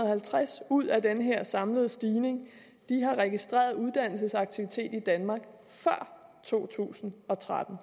halvtreds ud af den her samlede stigning registreret uddannelsesaktivitet i danmark før to tusind og tretten